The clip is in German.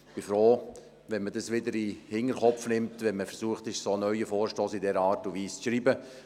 Ich bin froh, wenn man das wieder in den Hinterkopf nimmt, wenn man versucht, einen neuen Vorstoss in dieser Art und Weise zu schreiben.